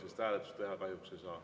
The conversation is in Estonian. Sellist hääletust teha kahjuks ei saa.